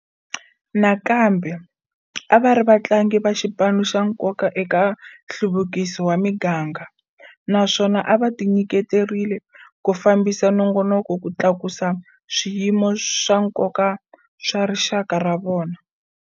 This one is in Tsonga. Nakambe, a va ri vatlangi va xipano xa nkoka eka nhluvukiso wa miganga, naswona a va tinyiketerile ku fambisa minongonoko ku tlakusa swiyimo swa nkoka swa rixaka ra vona.